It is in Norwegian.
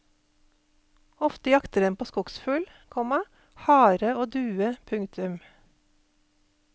Ofte jakter den på skogsfugl, komma hare og due. punktum